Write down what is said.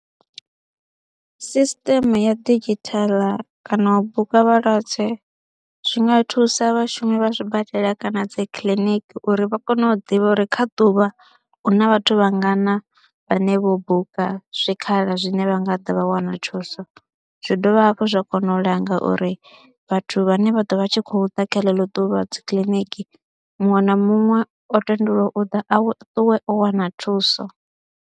Sisiṱeme ya didzhithala kana u buka vhalwadze zwi nga thusa vhashumi vha zwibadela kana dzi kiḽiniki uri vha kone u ḓivha uri kha ḓuvha huna vhathu vhangana vhane vho buka zwikhala zwine vha nga ḓa vha wana thuso, zwi dovha hafhu zwa kona u langa uri vhathu vhane vha ḓo vha tshi khou ḓa kha ḽeḽo ḓuvha dzi kiḽiniki muṅwe na muṅwe o tendelwa u ḓa a ṱuwe o wana thuso.